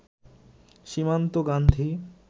Simanta Gandhi